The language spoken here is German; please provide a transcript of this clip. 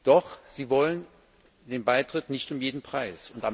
Doch sie will den Beitritt nicht um jeden Preis.